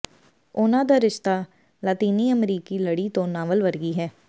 ਉਨ੍ਹਾਂ ਦਾ ਰਿਸ਼ਤਾ ਲਾਤੀਨੀ ਅਮਰੀਕੀ ਲੜੀ ਤੋਂ ਨਾਵਲ ਵਰਗੀ ਹੈ